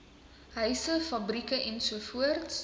huise fabrieke ens